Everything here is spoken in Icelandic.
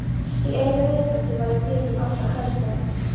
Í einu vetfangi var ég gripin ofsahræðslu.